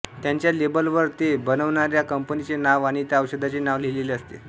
त्याच्या लेबल वर ते बनवणाऱ्या कंपनीचे नाव आणि त्या औषधाचे नाव लिहिलेले असते